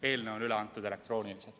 Eelnõu on üle antud elektrooniliselt.